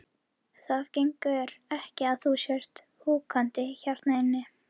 Hann tekur upp hanskann fyrir föður sinn, svaraði Marteinn.